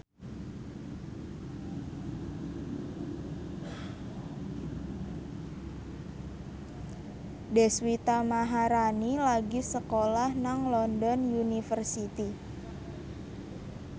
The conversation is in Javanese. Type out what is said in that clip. Deswita Maharani lagi sekolah nang London University